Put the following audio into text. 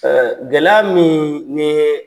gɛlɛya miin nii